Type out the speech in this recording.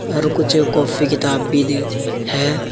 और कुछ कापी किताब भी दी है।